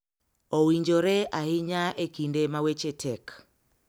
Owinjore ahinya e kinde ma weche tek.